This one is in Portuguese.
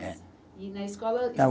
E na escola